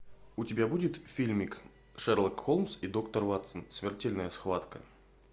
у тебя будет фильмик шерлок холмс и доктор ватсон смертельная схватка